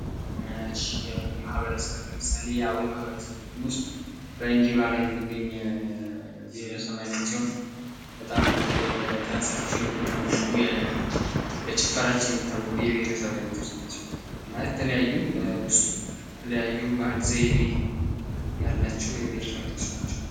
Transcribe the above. ማበረሰብ ለምሳሌ የአዊ የማህበረሰብ ውስጥ በ እንጅባራ የሚገኝ የማህበረሰብአዊነት ሲሆን በጣም በተለይ በደንሳቸው የሚታወቁ በጭፈራቸው የሚታወቁ የብሄረሰብ አይነቶች ናቸው። በውስጡ የተለያዩ ባህል ዘይቤ ያላቸው የብሄረሰብ አይነቶች ናቸው።